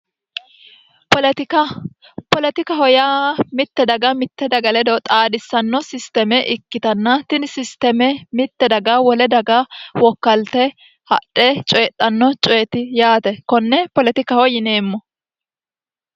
poletika poletikaho yaa mitte daga mitte daga ledo xaadhissanno sisteeme ikkitanna tini sisteeme mitte daga wole daga wokkalte hadhe coyidhanno coyeti yaate konne poletikaho yineemmo